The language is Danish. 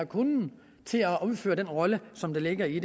kunnen til at udfylde den rolle som ligger i